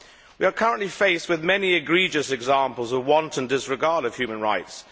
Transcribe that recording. We are currently faced with many egregious examples of wanton disregard of human rights.